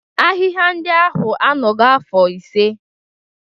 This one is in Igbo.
Ahịhịa ndị ahụ anọgo afọ ise.